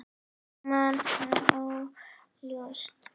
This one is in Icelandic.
Ég man hann óljóst.